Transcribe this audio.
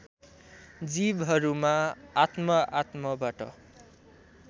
जीवहरूमा आत्म आत्मबाट